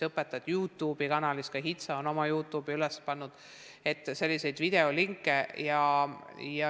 Õpetajad on Youtube'i kanalisse ja ka HITSA on oma Youtube'i üles pannud videolinke.